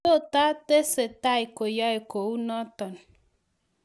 totatesetai koyae kounoton